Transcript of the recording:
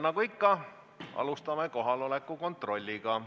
Nagu ikka, alustame kohaloleku kontrolliga.